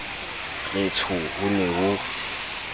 re tsho ho ne ho